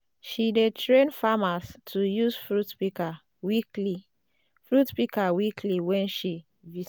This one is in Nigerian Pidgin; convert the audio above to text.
she dey train farmers to use fruit pika weekly fruit pika weekly wen she visit